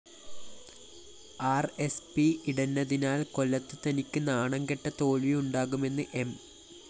R S P ഇടഞ്ഞതിനാല്‍ കൊല്ലത്ത്‌ തനിക്ക്‌ നാണംകെട്ട തോല്‍വി ഉണ്ടാകുമെന്ന്‌ എം